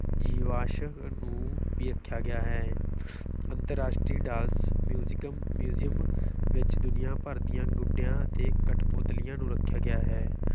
ਜੀਵਾਸ਼ਮ ਨੂੰ ਵੀ ਰੱਖਿਆ ਗਿਆ ਹੈ ਅੰਤਰਰਾਸ਼ਟਰੀ ਡਾਲਸ music museum ਵਿੱਚ ਦੁਨੀਆ ਭਰ ਦੀਆਂ ਗੁੱਡਿਆਂ ਅਤੇ ਕਠਪੁਤਲੀਆਂ ਨੂੰ ਰੱਖਿਆ ਗਿਆ ਹੈ।